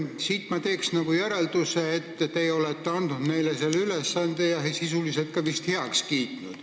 Siit ma teen järelduse, et teie olete neile selle ülesande andnud ja selle sisuliselt ka heaks kiitnud.